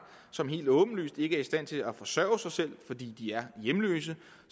som helt åbenlyst ikke er i stand til at forsørge sig selv fordi de er hjemløse